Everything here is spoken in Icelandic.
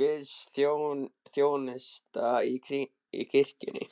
guðsþjónusta í kirkjunni.